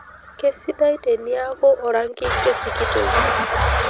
kesidai eniaku orangi kesikitoi